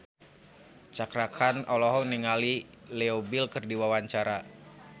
Cakra Khan olohok ningali Leo Bill keur diwawancara